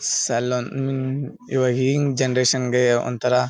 ಸಾಲಾನ್ ಹ್ಮ್ಮ್ ಹ್ನ್ ಇವಾಗಿನ್ ಜನರೇಷನ್ ಗೆ ಒಂಥರ --